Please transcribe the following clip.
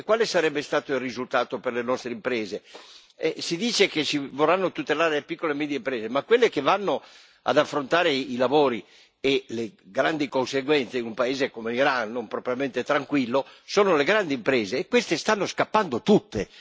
E quale sarebbe stato il risultato per le nostre imprese? Si dice che si vorranno tutelare le piccole e medie imprese, ma quelle che vanno ad affrontare i lavori e le grandi conseguenze, in un paese come l'Iran non propriamente tranquillo, sono le grandi imprese e queste stanno scappando tutte.